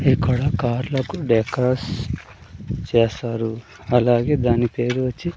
ఇక్కడ కార్లకు డెకాస్ చేస్తారు అలాగే దాని పేరు వచ్చి.